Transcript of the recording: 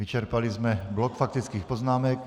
Vyčerpali jsme blok faktických poznámek.